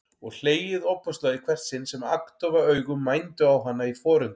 Og hlegið ofboðslega í hvert sinn sem agndofa augu mændu á hana í forundran.